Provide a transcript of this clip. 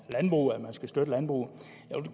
landbruget og at man skal støtte landbruget